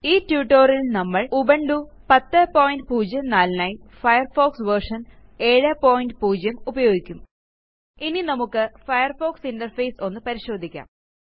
ഈ tutorialൽ നമ്മൾ ഉബുന്റു 1004നായി ഫയർഫോക്സ് വെർഷൻ 70 ഉപയോഗിക്കും ഇനി നമുക്ക് ഫയർഫോക്സ് ഇന്റർഫേസ് ഒന്ന് പരിശോധിക്കാം